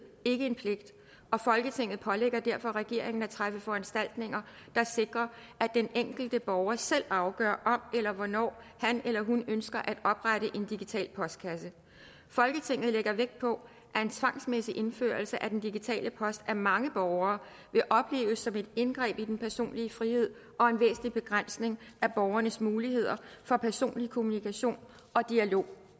ikke en pligt og folketinget pålægger derfor regeringen at træffe foranstaltninger der sikrer at den enkelte borger selv afgør om eller hvornår han eller hun ønsker at oprette en digital postkasse folketinget lægger vægt på at en tvangsmæssig indførelse af den digitale post af mange borgere vil opleves som et indgreb i den personlige frihed og en væsentlig begrænsning af borgernes muligheder for personlig kommunikation og dialog